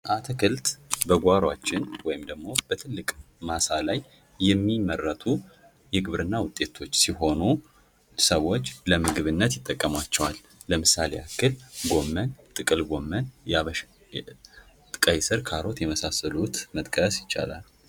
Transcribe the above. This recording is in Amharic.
አትክልት በጓሯችን ወይም ደግሞ በጥልቅ ማሳ ላይ የሚመረቱ የግብርና ውጤቶች ሲሆኑ ሰዎች ለምግብነት ይጠቀሟቸዋል። ለምሳሌ ያህል ጎመን ፣ ጥቅል ጎመን ያበሻ ቀይስር፣ ካሮት የመሳሰሉት መጥቀስ ይቻላል። ደ